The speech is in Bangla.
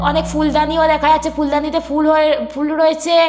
অনেক ফুলদানিও দেখা যাচ্ছে। ফুলদানিতে ফুল হয়ে ফুল রয়েছে।